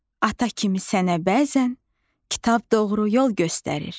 Ata kimi sənə bəzən kitab doğru yol göstərir.